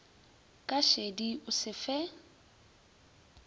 ka šedi o se fe